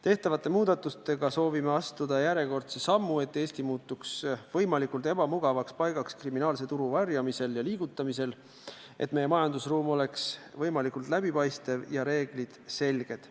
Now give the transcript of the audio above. Tehtavate muudatustega soovime astuda järjekordse sammu, et Eesti muutuks võimalikult ebamugavaks paigaks kriminaalse tulu varjamisel ja liigutamisel ning et meie majandusruum oleks võimalikult läbipaistev ja reeglid selged.